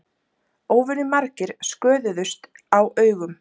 Óvenjumargir sköðuðust á augum